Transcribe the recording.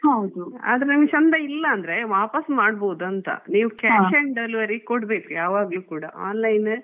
ಆದ್ರೆ ನಂಗೆ ಚೆಂದ ಇಲ್ಲ ಅಂದ್ರೆ ವಾಪಸ್ ಮಾಡ್ಬಹುದು ಅಂತ ನೀವ್ cash and delivery ಕೊಡ್ಬೇಕು ಯಾವಾಗ್ಲೂ ಕೂಡ.